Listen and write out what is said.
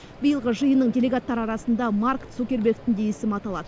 биылғы жиынның делегаттары арасында марк цукербергтің де есімі аталады